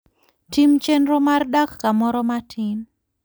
Tim chenro mar dak kamoro matin.